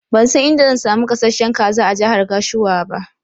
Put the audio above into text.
Ban san inda zan samu gasasshen kaza a jahar Gashua ba.